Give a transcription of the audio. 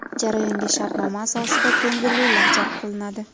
Jarayonga shartnoma asosida ko‘ngillilar jalb qilinadi.